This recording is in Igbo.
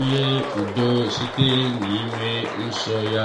nye udo site n’inọ nso ya.